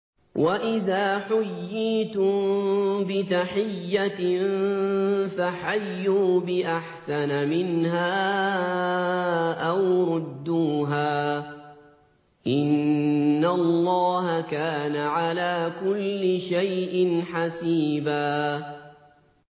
وَإِذَا حُيِّيتُم بِتَحِيَّةٍ فَحَيُّوا بِأَحْسَنَ مِنْهَا أَوْ رُدُّوهَا ۗ إِنَّ اللَّهَ كَانَ عَلَىٰ كُلِّ شَيْءٍ حَسِيبًا